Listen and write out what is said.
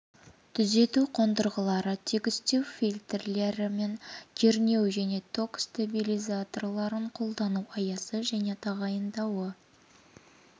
түзету қондырғылары тегістеу фильтрлері мен кернеу және ток стабилизаторларын қолдану аясы және тағайындауы